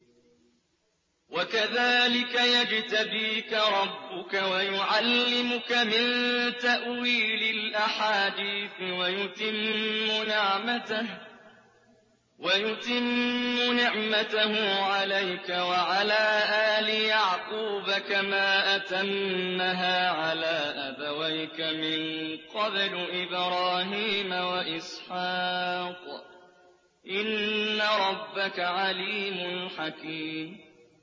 وَكَذَٰلِكَ يَجْتَبِيكَ رَبُّكَ وَيُعَلِّمُكَ مِن تَأْوِيلِ الْأَحَادِيثِ وَيُتِمُّ نِعْمَتَهُ عَلَيْكَ وَعَلَىٰ آلِ يَعْقُوبَ كَمَا أَتَمَّهَا عَلَىٰ أَبَوَيْكَ مِن قَبْلُ إِبْرَاهِيمَ وَإِسْحَاقَ ۚ إِنَّ رَبَّكَ عَلِيمٌ حَكِيمٌ